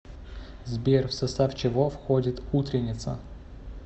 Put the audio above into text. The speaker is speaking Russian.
сбер в состав чего входит утренница